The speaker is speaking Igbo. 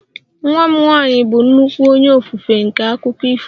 Nwa m nwanyị bụ nnukwu onye ofufe nke akụkọ ifo